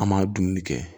An m'a dumuni kɛ